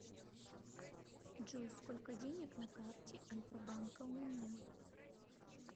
джой сколько денег на карте альфа банка у меня